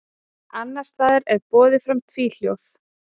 Annars staðar er borið fram tvíhljóð.